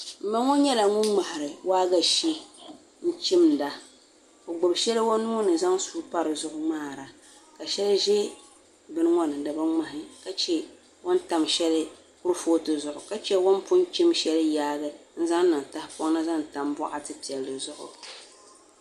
N ma ŋo nyɛla ŋmahari waagashe n chimda o gbubi shɛli o nuuni zaŋ suu ŋmaara ka shɛli ʒɛ bini ŋo ni dibi ŋmahi ka chɛ o ni tam shɛli kuripooti zuɣu ka chɛ o ni pun chim shɛli yaagi n zaŋ niŋ tahapoŋ ni zaŋ tam boɣati piɛli zuɣu